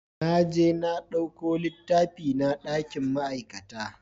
Naje na ɗauko littafina dakin ma'aikata